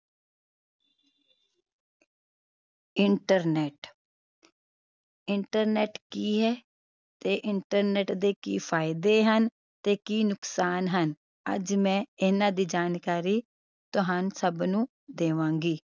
internet internet ਕੀ ਹੈ ਤੇ internet ਦੇ ਕੀ ਫਾਇਦੇ ਹਨ ਤੇ ਕੀ ਨੁਕਸਾਨ ਹਨ ਅੱਜ ਮੈਂ ਇਹਨਾਂ ਦੀ ਜਾਣਕਾਰੀ ਤੁਹਾਨੂੰ ਸਭ ਨੂੰ ਦੇਵਾਂਗੀ